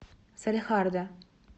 салехарда